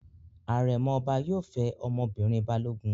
Àrẹ̀mọ ọba yóò fẹ́ ọmọbìnrin Balógun.